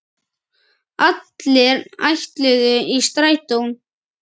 Allir ætluðu í Strætó!